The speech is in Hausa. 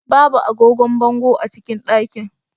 Babu agogon bango a cikin ɗakin.